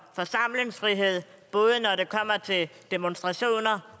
forsamlingsfrihed både når det kommer til demonstrationer